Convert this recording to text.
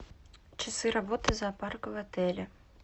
часы работы зоопарка в отеле